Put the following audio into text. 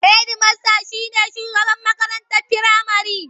Hedimasta shi ne shugaban makarantar firamare.